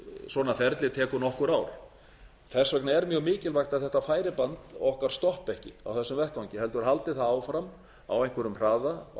svona ferli tekur nokkur ár þess vegna er mjög mikilvægt að þetta færiband okkar stoppi ekki á þessum vettvangi heldur haldi það áfram á einhverjum hraða og